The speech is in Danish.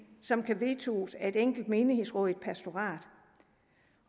som kan vetoes af et enkelt menighedsråd i et pastorat